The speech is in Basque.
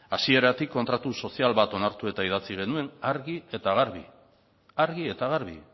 hasieratik kontratu sozial bat onartu eta idatzi genuen argi eta garbi argi eta garbi